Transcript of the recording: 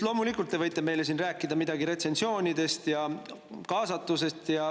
Loomulikult, te võite meile siin rääkida midagi retsensioonidest ja kaasatusest.